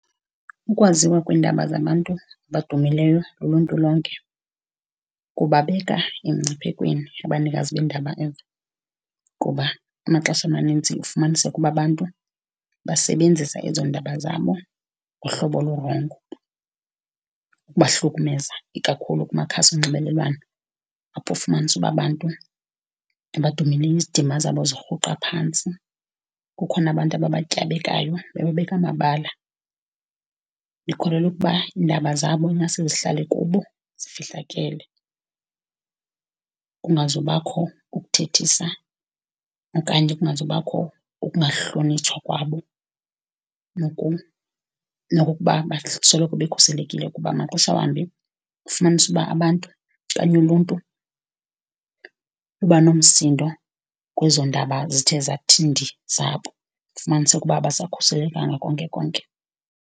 Ukwaziwa kweendaba zabantu abadumileyo luluntu lonke kubabeka emngciphekweni abanikazi beendaba ezo kuba amaxesha amanintsi ufumaniseka uba abantu basebenzisa ezo ndaba zabo ngohlobo olurongo, ukubahlukumeza ikakhulu kumakhasi onxibelelwano apho ufumanise uba abantu abadumileyo izidima zabo zirhuqa phantsi. Kukhona abantu ababatyabekayo, bebabeka amabala. Ndikholelwa ukuba iindaba zabo ingaske zihlale kubo, zifihlakele, kungazubakho ukuthethisa okanti kungazubakho ukungahlonitshwa kwabo nokukuba basoloko bekhuselekile kuba maxeshawambi ufumanisa ukuba abantu okanye uluntu luba nomsindo kwezo ndaba zithe zathi ndii zabo, ufumanise ukuba abasakhuselekanga konkekonke.